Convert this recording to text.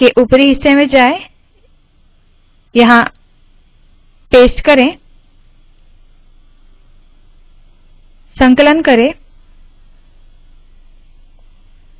इसके उपरी हिस्से में जाए यहाँ पेस्ट करे संकलन करे